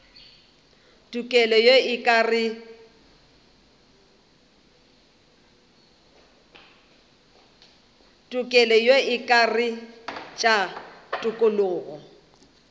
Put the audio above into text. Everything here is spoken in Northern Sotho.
tokelo ye e akaretša tokologo